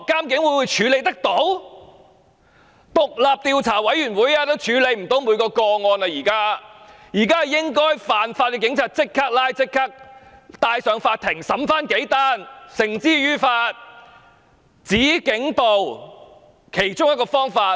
現在即使成立獨立調查委員會，也無法處理所有個案，現時應該即時拘捕違法的警員，由法庭審理，把他們繩之於法，這是"止警暴"的其中一種方法。